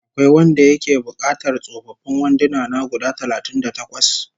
Akwai wanda yake buƙatar tsofaffin wanduna na guda talatin da takwas?